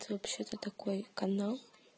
это вообще то такой канал